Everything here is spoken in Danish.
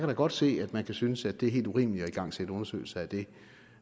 da godt se at man kan synes at det er helt urimeligt at igangsætte undersøgelser af det